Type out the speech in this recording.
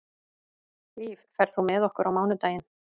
Líf, ferð þú með okkur á mánudaginn?